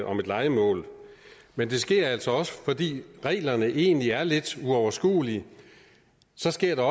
om et lejemål men det sker altså også fordi reglerne egentlig er lidt uoverskuelige så sker